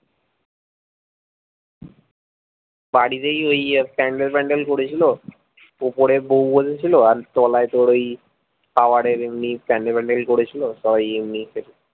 বাড়িতেই ওই প্যান্ডেল ম্যান্ডেল করেছিলো উপরে বউ বসেছিলো আর তলায় তোর ওই খাবারের এমনি প্যান্ডেল ম্যান্ডেল করেছিলো ওই এমনি